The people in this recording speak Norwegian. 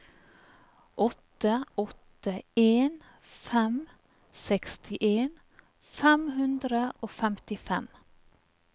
åtte åtte en fem sekstien fem hundre og femtifem